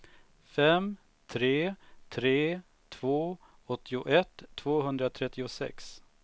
fem tre tre två åttioett tvåhundratrettiosex